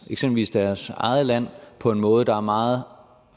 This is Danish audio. eksempelvis deres eget land på en måde der er meget